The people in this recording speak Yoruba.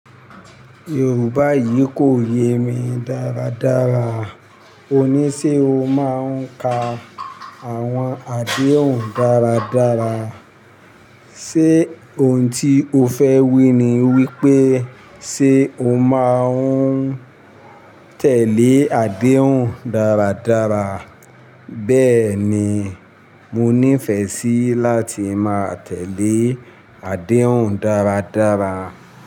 Yorùbá yìí kò yé mi dáradára. Ó ní ṣe o máa ń ka àwọn àdéhùn dáradára. Ṣé ohun tí o fẹ wí ni wípé ṣe o máa ń tẹ̀lé àdéhùn dáradára? Bẹ́ẹ̀ni, mo nífẹ̀ẹ́ sí láti máa tẹ̀lé àdéhùn dáradára.